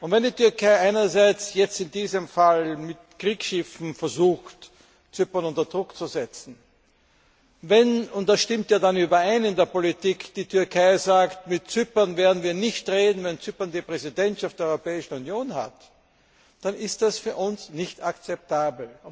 Wenn die Türkei einerseits jetzt in diesem Fall mit Kriegsschiffen versucht, Zypern unter Druck zu setzen, wenn und das stimmt ja dann überein in der Politik die Türkei sagt Mit Zypern werden wir nicht reden, wenn Zypern die Präsidentschaft der Europäischen Union hat, dann ist das für uns nicht akzeptabel.